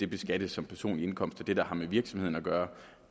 beskattes som personlig indkomst og det der har med virksomheden at gøre